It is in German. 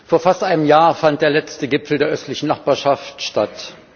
Vor fast einem Jahr fand der letzte Gipfel der Östlichen Nachbarschaft statt.